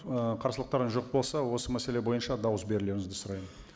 ііі қарсылықтарыңыз жоқ болса осы мәселе бойынша дауыс берулеріңізді сұраймын